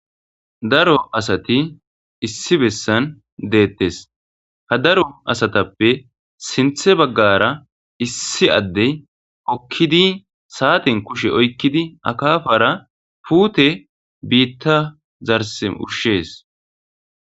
Daro asati issi bessan detes ha daro asatape sintte baggara issi ade hokidi sate kushen oyiqidi akafara puute biththa garssen ushes.